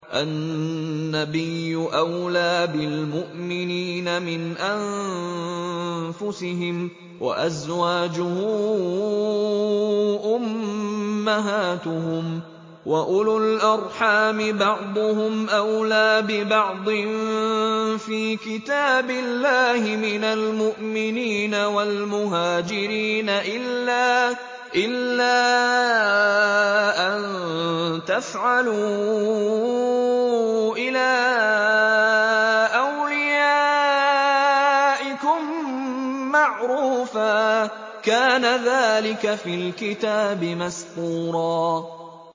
النَّبِيُّ أَوْلَىٰ بِالْمُؤْمِنِينَ مِنْ أَنفُسِهِمْ ۖ وَأَزْوَاجُهُ أُمَّهَاتُهُمْ ۗ وَأُولُو الْأَرْحَامِ بَعْضُهُمْ أَوْلَىٰ بِبَعْضٍ فِي كِتَابِ اللَّهِ مِنَ الْمُؤْمِنِينَ وَالْمُهَاجِرِينَ إِلَّا أَن تَفْعَلُوا إِلَىٰ أَوْلِيَائِكُم مَّعْرُوفًا ۚ كَانَ ذَٰلِكَ فِي الْكِتَابِ مَسْطُورًا